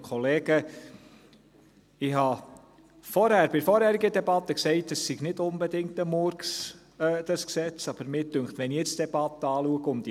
Ich habe bei der vorherigen Debatte gesagt, dieses Gesetz sei nicht unbedingt ein Murks, aber wenn ich die Debatte und die Anträge jetzt anschaue, dünkt mich: